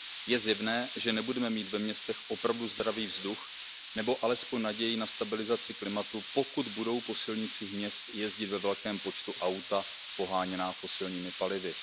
Je zjevné, že nebudeme mít ve městech opravdu zdravý vzduch nebo alespoň naději na stabilizaci klimatu, pokud budou po silnicích měst jezdit ve velkém počtu auta poháněná fosilními palivy.